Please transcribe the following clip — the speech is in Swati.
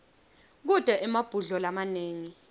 kute emabhudlo lamanengi